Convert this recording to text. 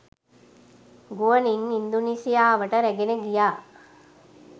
ගුවනින් ඉන්දුනීසියාවට රැගෙන ගියා.